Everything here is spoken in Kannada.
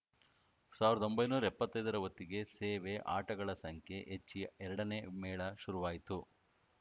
ಸಾವಿರದ ಒಂಬೈನೂರ ಎಪ್ಪತ್ತೈದರ ಹೊತ್ತಿಗೆ ಸೇವೆ ಆಟಗಳ ಸಂಖ್ಯೆ ಹೆಚ್ಚಿ ಎರಡನೇ ಮೇಳ ಶುರುವಾಯ್ತು